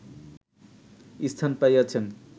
স্থান পাইয়াছেন